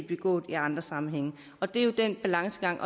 begået i andre sammenhænge det er jo en balancegang